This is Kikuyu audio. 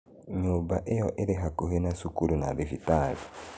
Nyũmba ĩyo ĩrĩ hakuhĩ na cukuru na thibitarĩ.